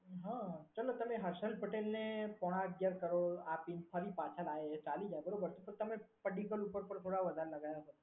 હા ચાલો તમે હર્ષદ પટેલ ને પોણા અગિયાર કરોડ આપી ફરી પાછા લાયા એ ચાલી જાય બરોબર તો તમે પડીકલ ઉપર પર થોડા વધારે લગાયા હોત.